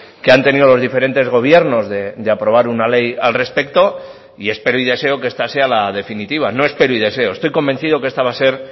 que han tenido los diferentes gobiernos de aprobar una ley al respecto y espero y deseo que esta sea la definitiva no espero y deseo estoy convencido que esta va a ser